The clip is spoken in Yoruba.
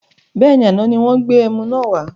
Bẹ́ẹ̀ni, àná ni wọn gbé ẹmu náà wà